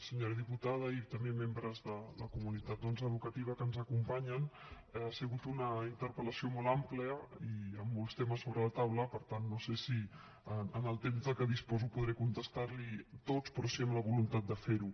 senyora diputada i també membres de la comunitat educativa que ens acompanyen ha sigut una interpel·lació molt àmplia i amb molts temes sobre la taula per tant no sé si amb el temps de què disposo podré contestar los hi tots però sí amb la voluntat de fer ho